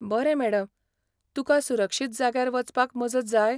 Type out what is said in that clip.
बरें मॅडम, तुका सुरक्षीत जाग्यार वचपाक मजत जाय?